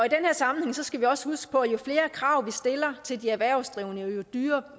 sammenhæng skal vi også huske på at jo flere krav vi stiller til de erhvervsdrivende jo dyrere